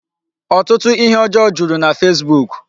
Ọtụtụ ihe ọjọọ juru na Facebook.